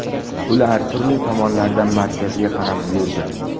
Ular turli tomonlardan markazga qarab yurdi.